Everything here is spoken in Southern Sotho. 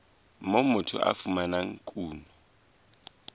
moo motho a fumanang kuno